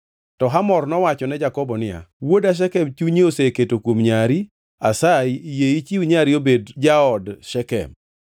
To Hamor nowacho ne Jakobo niya, “Wuoda Shekem chunye oseketo kuom nyari. Asayi yie ichiw nyari obed jaod Shekem.